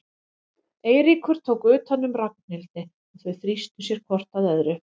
Eiríkur tók utan um Ragnhildi og þau þrýstu sér hvort að öðru.